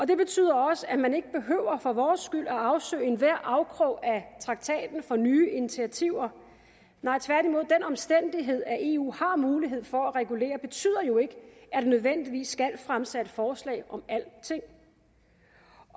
det betyder også at man ikke behøver for vores skyld at afsøge enhver afkrog af traktaten for nye initiativer tværtimod den omstændighed at eu har mulighed for at regulere betyder jo ikke at der nødvendigvis skal fremsættes forslag om alting